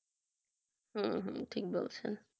হম হম ঠিক বলছেন